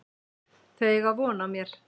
Þau eiga von á mér.